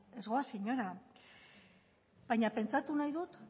ez goaz inora baina pentsatu nahi dut